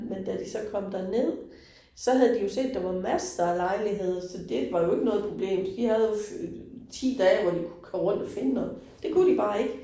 Men da de så kom derned, så havde de jo set, der var masser af lejlighed, så det var jo ikke noget problem. De havde jo 10 dage, hvor de kunne køre rundt og finde noget. Det kunne de bare ikke